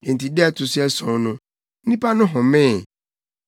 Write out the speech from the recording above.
Enti da a ɛto so ason no, nnipa no homee.